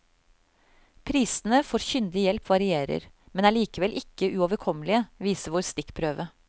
Prisene for kyndig hjelp varierer, men er likevel ikke uoverkommelige, viser vår stikkprøve.